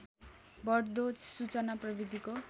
बढ्दो सूचना प्रविधिको